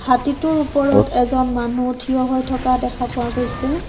হাতীটোৰ ওপৰত এজন মানুহ থিয় হৈ থকা দেখা পোৱা গৈছে।